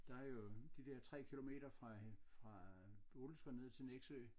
Der jo de der 3 kilometer fra fra Bodilsker ned til Nexø